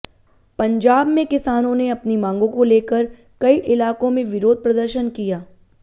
पंजाब में किसानों ने अपनी मांगों को लेकर कई इलाकों में विरोध प्रदर्शन किया